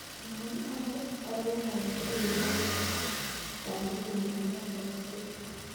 Mwowon baruet age tugul neyobu sandugunyun nebo tokset